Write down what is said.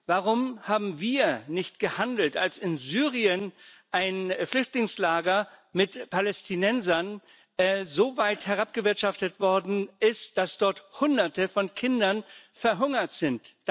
Warum haben wir nicht gehandelt, als in Syrien ein Flüchtlingslager mit Palästinensern so weit herabgewirtschaftet worden ist, dass dort Hunderte von Kindern verhungert sind?